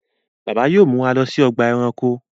Bàbá yóò mú wá ló sí Ọgbà ẹranko.